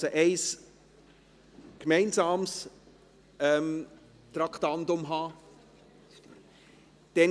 Das heisst, dass in der zukünftigen Planung allenfalls Anpassungen an die verfügbaren Mittel notwendig sein werden.